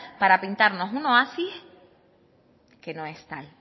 para pintarnos un oasis que no es tal